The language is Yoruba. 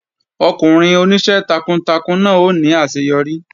Ọkùnrin oníṣẹ́ takuntakun náà ó ní àṣeyọrí